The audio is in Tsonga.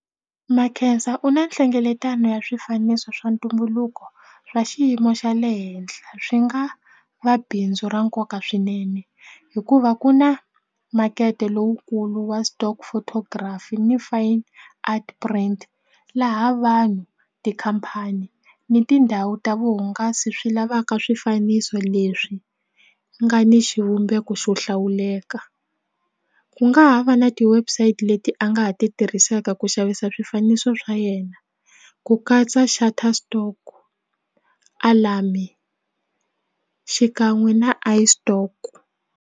Makhensa u na nhlengeletano ya swifaniso swa ntumbuluko swa xiyimo xa le henhla swi nga va bindzu ra nkoka swinene hikuva ku na makete lowukulu wa stock photography ni fine art print laha vanhu tikhampani ni tindhawu ta vuhungasi swi lavaka swifaniso leswi nga ni xivumbeko xo hlawuleka ku nga ha va na ti-website leti a nga ha ti tirhisaka ku xavisa swifaniso swa yena ku katsa shutterstock alarm-i xikan'we na iStock.